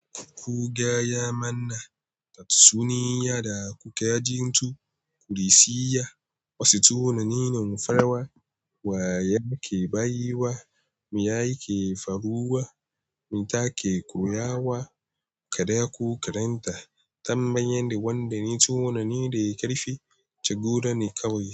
Ku gaya mana tatsuniya da kuka ji, ku reshe wasu tunanin farawa wa ya ke bayiwa, me ya ke faruwa, me ta ke koya wa ka da ku karanta tambayen da wanda ne tunani da ya karfi, ci gaba ne kawai.